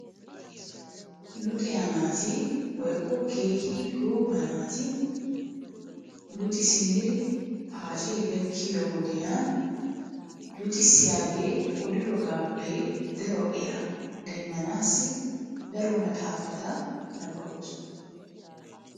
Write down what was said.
Luxiya naati woykko keehi gooba naati lexxi simmidi paacee gakkiyo wodiyan luxxissiyagee oddiroogaappe daro eraa demmanaassi daro maxaafata nabbabees.